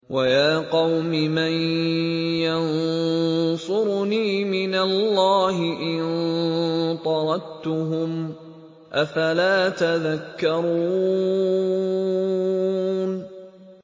وَيَا قَوْمِ مَن يَنصُرُنِي مِنَ اللَّهِ إِن طَرَدتُّهُمْ ۚ أَفَلَا تَذَكَّرُونَ